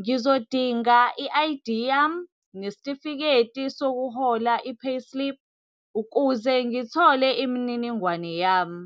Ngizodinga i-I_D yami, nesitifiketi sokuhola i-payslip, ukuze ngithole imininingwane yami.